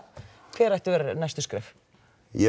hver ættu að vera næstu skref ég er